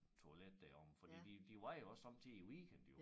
Toilet deromme fordi de de var jo også somme tider i æ weekend jo